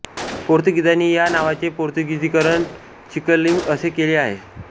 पोर्तुगीजांनी या नावाचे पोर्तुगिजीकरण चिकालिम असे केले होते